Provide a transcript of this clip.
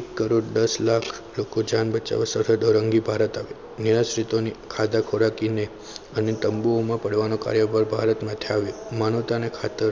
એક કરોડ દસ લાખ લોકો જાન બચાવવા સરહદ ઓળંગી ભારત આવ્યા મેં આશ્રિતોને ખાધા ખોરાકીને અને તંબુઓમાં પડવાનો ભારતમાં માનવતાને ખાતર